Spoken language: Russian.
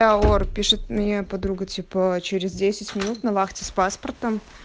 бля ор пишет моя подруга типа через десять минут на вахте с паспортом